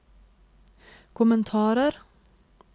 kommentarer